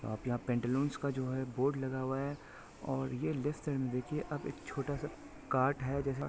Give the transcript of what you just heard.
आप यहाँ पैंटालून्स का जो है बोर्ड लगा हुआ है और ये लेफ्ट साइड में देखिए आप एक छोटा सा कार्ट है जैसे--